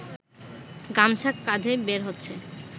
গামছা কাঁধে বের হচ্ছে